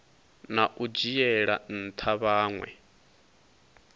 na u dzhiela ntha vhanwe